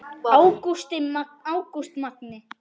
Ágúst Magni.